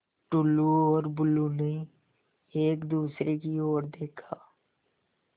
टुल्लु और बुल्लु ने एक दूसरे की ओर देखा